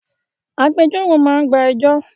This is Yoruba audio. Agbẹjọ́rò máa gba ẹjọ́